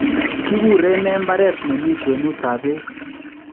Kiguren nee mbareet nemii kwenutab beek?